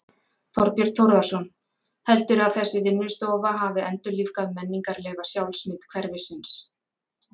Þorbjörn Þórðarson: Heldurðu að þessi vinnustofa hafi endurlífgað menningarlega sjálfsmynd hverfisins?